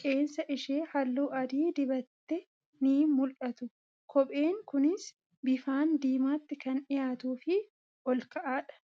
qeensa ishee halluu adii dibattee ni mul'atu. Kopheen kunis bifaan diimaatti kan dhiyaatuu fi ol ka'aa dha.